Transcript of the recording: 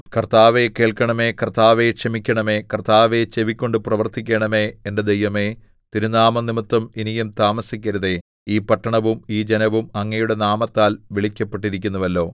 കർത്താവേ കേൾക്കണമേ കർത്താവേ ക്ഷമിക്കണമേ കർത്താവേ ചെവിക്കൊണ്ട് പ്രവർത്തിക്കണമേ എന്റെ ദൈവമേ തിരുനാമംനിമിത്തം ഇനിയും താമസിക്കരുതേ ഈ പട്ടണവും ഈ ജനവും അങ്ങയുടെ നാമത്താൽ വിളിക്കപ്പെട്ടിരിക്കുന്നുവല്ലോ